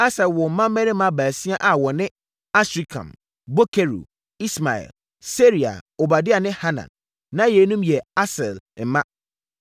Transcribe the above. Asel woo mmammarima baasia a wɔne: Asrikam, Bokeru, Ismael, Searia, Obadia ne Hanan. Na yeinom yɛ Asel mma.